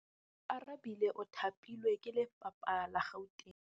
Oarabile o thapilwe ke lephata la Gauteng.